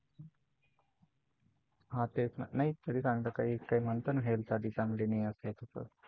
हा तेच ना, नाही तरी म्हणतात ना Health साठी चांगलं नाही अस तसं.